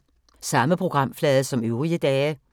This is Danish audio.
Samme programflade som øvrige dage